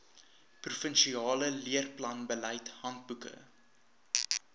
provinsiale leerplanbeleid handboeke